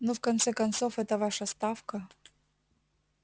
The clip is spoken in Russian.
ну в конце концов эта ваша ставка